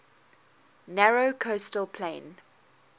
narrow coastal plain